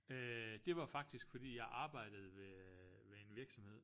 Øh det var faktisk fordi jeg arbejdede ved ved en virksomhed